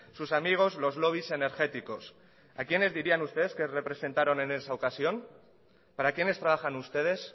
sus amigos los lobbies energéticos a quiénes dirían ustedes que representaron en esa ocasión para quienes trabajan ustedes